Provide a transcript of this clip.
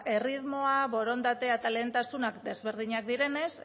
erritmoa borondatea eta lehentasunak desberdinak direnez